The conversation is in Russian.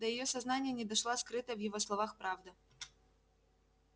до её сознания не дошла скрытая в его словах правда